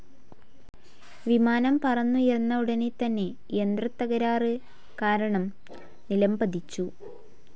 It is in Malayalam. വിമാനം പറന്നുയർന്ന ഉടനെ തന്നെ യന്ത്രതതകരാറ് കാരണം നിലംപതിച്ചു.